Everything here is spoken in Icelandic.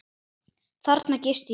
Þarna gisti ég.